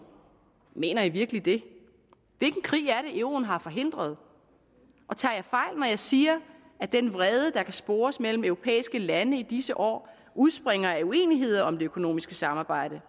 mener i virkelig det hvilken krig er det euroen har forhindret og tager jeg fejl når jeg siger at den vrede der kan spores mellem europæiske lande i disse år udspringer af uenigheder om det økonomiske samarbejde